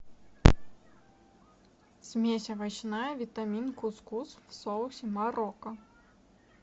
смесь овощная витамин кус кус в соусе марокко